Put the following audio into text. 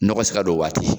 Nɔgɔ se ka don o waati